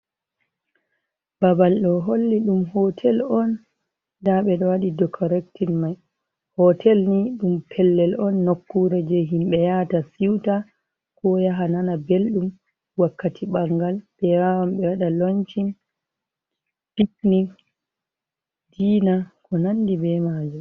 Babal ɗo holli ɗum hotel on nda ɓeɗo waɗi dekorectin mai. Hotel ni ɗum pellel on nokkure je himɓe yaata siuta ko yaha nana belɗum wakkati ɓangal ɓe wawan ɓe waɗa lonshin, pitnin, diina ko nandi be majum.